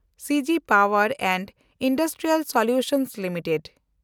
ᱥᱤ G ᱯᱟᱣᱮᱱᱰ and industrial solutions limited